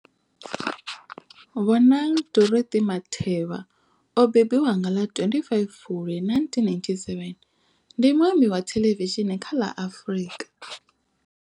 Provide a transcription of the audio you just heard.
Bonang Dorothy Matheba o mbembiwa nga ḽa 25 Fulwi 1987, ndi muambi wa thelevishini kha ḽa Afrika.